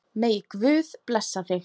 Megi Guð blessa þig.